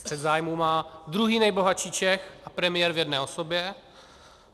Střet zájmů má druhý nejbohatší Čech a premiér v jedné osobě.